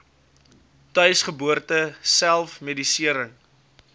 tuisgeboorte self medisering